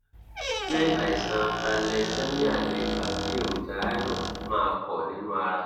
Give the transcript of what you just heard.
ṣé àìsàn thalessemia lè fa kí èròjà iron má pọ̀ nínú ara?